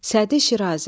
Sədi Şirazi.